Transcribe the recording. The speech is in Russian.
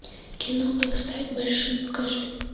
кино как стать большим покажи